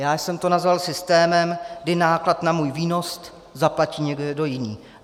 Já jsem to nazval systémem, kdy náklad na můj výnos zaplatí někdo jiný.